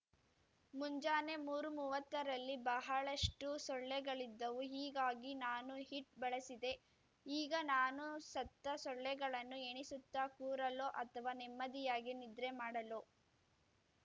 ಮುಂಜಾನೆ ಮೂರುಮುವತ್ತ ರಲ್ಲಿ ಬಹಳಷ್ಟು ಸೊಳ್ಳೆಗಳಿದ್ದವು ಹೀಗಾಗಿ ನಾನು ಹಿಟ್ ಬಳಸಿದೆ ಈಗ ನಾನು ಸತ್ತ ಸೊಳ್ಳೆಗಳನ್ನು ಎಣಿಸುತ್ತಾ ಕೂರಲೋ ಅಥವಾ ನೆಮ್ಮದಿಯಾಗಿ ನಿದ್ರೆ ಮಾಡಲೊ